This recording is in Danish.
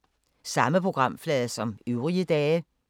Samme programflade som øvrige dage